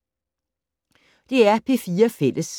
DR P4 Fælles